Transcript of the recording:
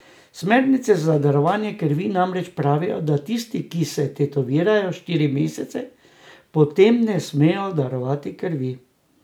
Smernice za darovanje krvi namreč pravijo, da tisti, ki se tetovirajo, štiri mesece po tem ne smejo darovati krvi.